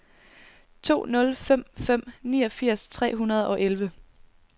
to nul fem fem niogfirs fire hundrede og elleve